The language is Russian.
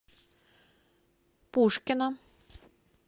пушкино